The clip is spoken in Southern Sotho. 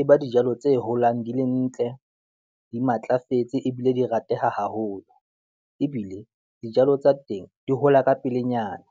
e ba dijalo tse holang di le ntle, di matlafetse, ebile di rateha haholo ebile dijalo tsa teng di hola ka pelenyana.